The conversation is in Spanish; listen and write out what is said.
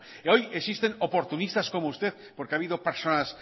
hoy existen oportunistas como usted porque ha habido personas